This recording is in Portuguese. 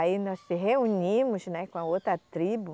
Aí nós se reunimos, né, com a outra tribo,